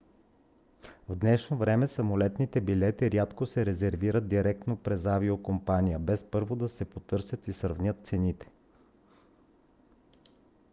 в днешно време самолетните билети рядко се резервират директно през авиокомпанията без първо да се потърсят и сравнят цените